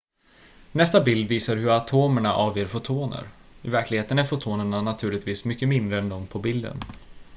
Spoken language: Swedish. nästa bild visar hur atomerna avger fotoner i verkligheten är fotonerna naturligtvis mycket mindre än de på bilden